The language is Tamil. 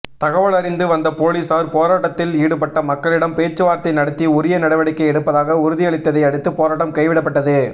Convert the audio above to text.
தகவலறிந்து வந்த போலீஸார் போராட்டத்தில் ஈடுபட்ட மக்களிடம் பேச்சுவார்த்தை நடத்தி உரிய நடவடிக்கை எடுப்பதாக உறுதியளித்ததை அடுத்து போராட்டம் கைவிடப்பட்டது